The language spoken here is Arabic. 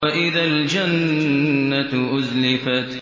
وَإِذَا الْجَنَّةُ أُزْلِفَتْ